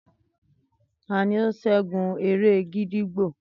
Tani o ṣẹgun ere gídígbò?